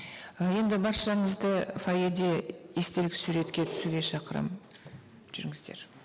ы енді баршаңызды фойеде естелік суретке түсуге шақырамын жүріңіздер